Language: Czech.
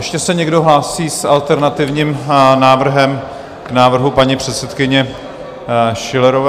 Ještě se někdo hlásí s alternativním návrhem k návrhu paní předsedkyně Schillerové?